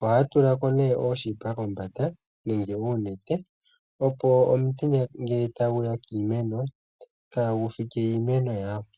ohaya tula ko nee ooshipa kombanda nenge uunete, opo omutenya ngele tagu ya kiimeno kagu fike iimeno yawo.